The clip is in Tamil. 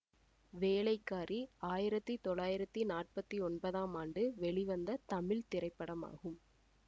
வேலைக்காரி ஆயிரத்தி தொள்ளாயிரத்தி நாப்பத்தி ஒன்பதாம் ஆண்டு வெளிவந்த தமிழ் திரைப்படமாகும்